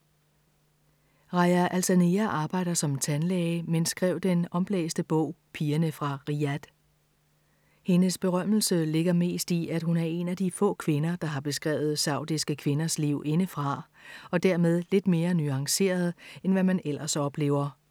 Rajaa Alsanea arbejder som tandlæge, men skrev den omblæste bog Pigerne fra Riyadh. Hendes berømmelse ligger mest i, at hun er en af de få kvinder, der har beskrevet saudiske kvinders liv indefra og dermed lidt mere nuanceret, end hvad man ellers oplever.